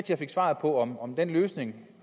jeg fik svar på om om den løsning